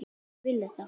Ég vil þetta.